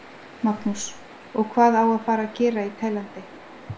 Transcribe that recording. Magnús: Og hvað á að fara að gera í Tælandi?